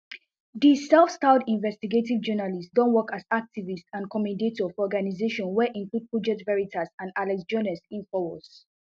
di selfstyled investigative journalist don work as activist and commentator for organisation wey include project veritas and alex joness infowars